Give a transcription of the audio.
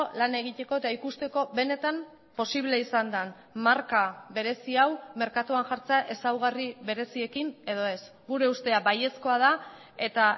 lan egiteko eta ikusteko benetan posible izan den marka berezi hau merkatuan jartzea ezaugarri bereziekin edo ez gure ustea baiezkoa da eta